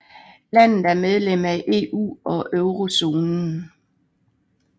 Landet er medlem af EU og eurozonen